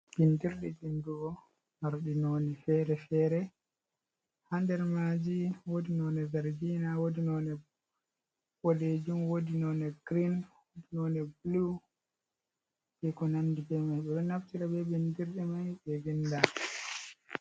Bindirɗi vindugo marɗi noni fere-fere, hander maji wodi none zergina, wodi none boɗejum, wodi none grein, wodi none bulu be ko nandi be mai, ɓe ɗo naftira be bindirɗe mai ɓe vinda.